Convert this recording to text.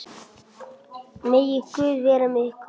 Megi Guð vera með ykkur.